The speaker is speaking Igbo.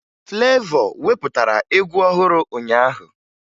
Flevọ wepụtara egwu ọhụrụ ụnyaahụ